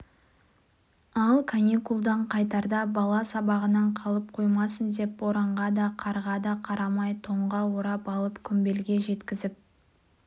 ал каникулдан қайтарда бала сабағынан қалып қоймасын деп боранға да қарға да қарамай тонға орап алып құмбелге жеткізіп